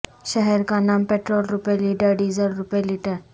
شہر کا نام پٹرول روپے لیٹر ڈیزل روپے لیٹر